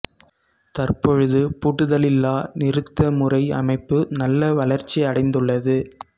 தற்பொழுது பூட்டுதலில்லா நிறுத்த முறை அமைப்பு நல்ல வளர்ச்சி அடைந்துள்ளது